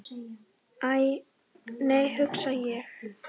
Æ, nei hugsa ég.